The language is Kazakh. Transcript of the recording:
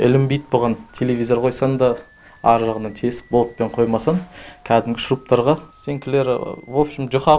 ілінбейді бұған телевизор қойсаң да ары жағынан тесіп болтпен қоймасаң кәдімгі шуруптарға стенкілері вообщем жұқа